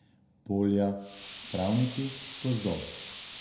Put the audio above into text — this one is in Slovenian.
Polja, travniki, gozdovi.